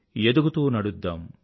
ఎదుగుతూ నడుద్దాం